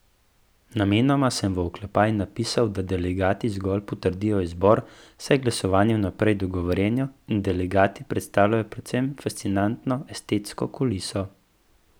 Namenoma sem v oklepaj napisal, da delegati zgolj potrdijo izbor, saj je glasovanje vnaprej dogovorjeno in delegati predstavljajo predvsem fascinantno estetsko kuliso.